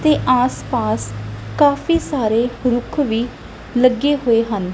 ਤੇ ਆਸ ਪਾਸ ਕਾਫੀ ਸਾਰੇ ਰੁੱਖ ਵੀ ਲੱਗੇ ਹੋਏ ਹਨ।